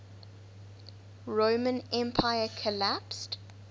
roman empire collapsed